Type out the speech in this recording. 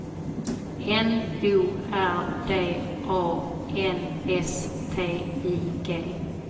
N O R D A N S T I G